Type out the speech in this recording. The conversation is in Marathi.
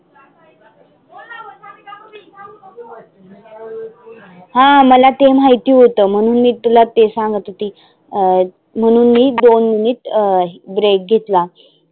हा मला ते माहिती होतं म्हणून मी तुला ते सांगत होते अं म्हणून मी दोन्हीत अं break घेतला.